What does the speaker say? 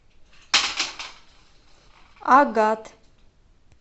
агат